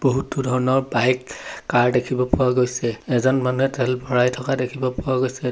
বহুতো ধৰণৰ bike car দেখিব পোৱা গৈছে এজন মানুহে তেল ভৰাই থকা দেখিব পোৱা গৈছে।